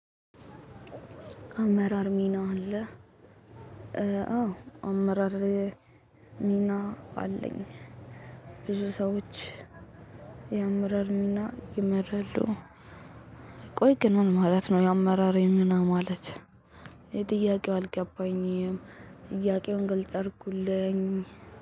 አመራር ሚና አለ። አዎ አመራር ሚና አለኝ። ብዙ ሰዎች ያመራር ሚና ይመራሉ። ቆይ ግን ምን ማለት ነው? የአመራር ሚና ማለት እኔ ጥያቄው አልገባኝም። ጥያቄውን ግልጽ አርጉልኝ